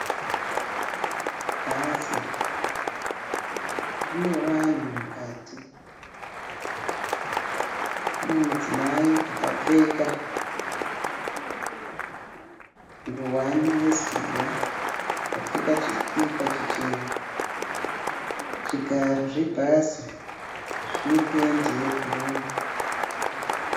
Bhazi, rine vanhu mukati. Mune mudzimai akapfeka nguwani yezuva, akapfeka chikipa chichena. Zvigaro zvebhazi zvine pendi yebhuruwu.